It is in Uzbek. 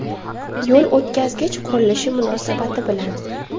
Yo‘l o‘tkazgich qurilishi munosabati bilan.